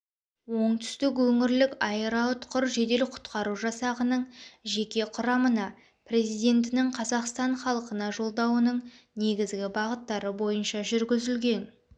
оңтүстік өңірлік аэроұтқыр жедел құтқару жасағының жеке құрамына президентінің қазақстан халықына жолдауының негізгі бағыттары бойынша жүргізілген